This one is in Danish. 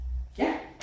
Ja